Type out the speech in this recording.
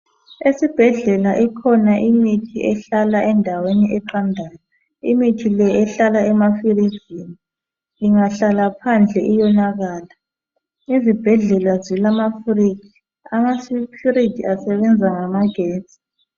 Esibhedlela ikhona imithi ehlala endaweni eqandayo, imithi le ehlala emafirijini, ingahlala phandle iyonakala, izibhedlela zilamafiriji, amafiriji asebenza ngamagetsi.